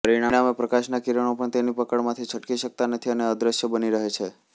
પરિણામે પ્રકાશના કિરણો પણ તેની પકડમાંથી છટકી શકતા નથી અને અદ્રશ્ય બની રહે છે